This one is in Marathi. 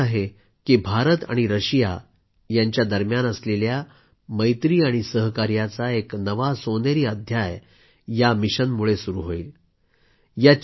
मला विश्वास आहे की भारत आणि रशिया यांच्या दरम्यान असलेल्या मैत्री आणि सहकार्याचा एक नवा सोनेरी अध्याय या मिशनमुळे सुरू होईल